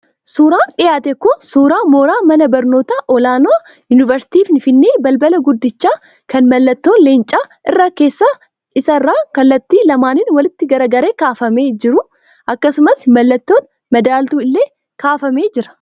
Suuraan dhiyaate kun suuraa mooraa mana barnootaa olaanaa Yuunivarsiitii Finfinnee balbala guddicha kan mallattoon Leencaa irra keessa isaa irraan kallattii lamaaniin walitti garagalee kaafamee jiru akkasumas mallattoon madaaltuu illee kaafamee argama.